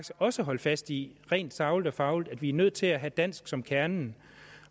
også at holde fast i rent sagligt og fagligt at vi er nødt til at have dansk som kernen